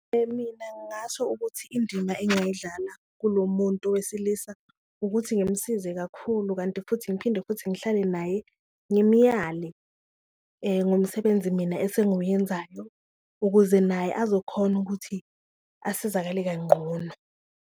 Mina ngasho ukuthi indima engayidlala kulo muntu wesilisa ukuthi ngimsize kakhulu, kanti futhi ngiphinde futhi ngihlale naye ngimuyale ngomsebenzi mina esengiwenzayo ukuze naye azokhona ukuthi asizakale kanqono.